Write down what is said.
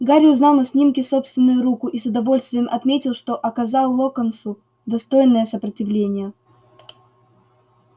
гарри узнал на снимке собственную руку и с удовольствием отметил что оказал локонсу достойное сопротивление